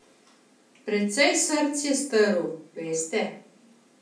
Precej src je strl, veste.